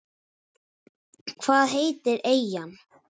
Hvað heitir eyjan?